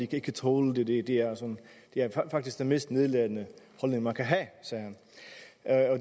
kan tåle det det det er faktisk den mest nedladende holdning man kan have sagde han